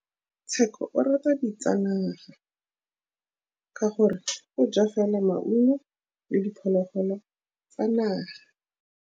Tshekô o rata ditsanaga ka gore o ja fela maungo le diphologolo tsa naga.